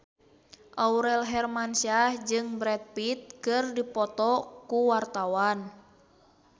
Aurel Hermansyah jeung Brad Pitt keur dipoto ku wartawan